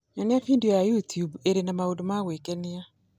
Nyonia video ya YouTube ĩrĩ na maũndũ ma gwĩkenia